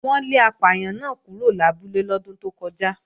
Wọ́n lé apàyàn náà kúrò lábúlé lọ́dún tó kọjá